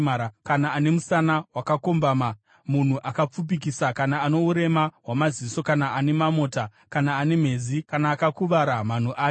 kana ane musana wakakombama, munhu akapfupikisa kana ano urema hwamaziso kana ane mamota kana ane mhezi, kana akakuvara manhu ake.